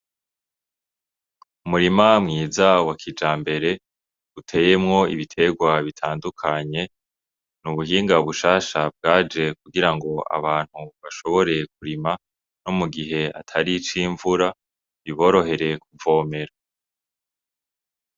Umurima mwiza wa kijambere uteyemwo ibiterwa bitandukanye nubuhingan bushasha bwaje kugira ngo abantu bashobore kurima mu gihe atari ic'imvura biborohere kuvomera.